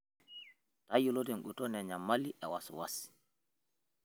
Tayiolo tenguton enyamali e wasiwasi.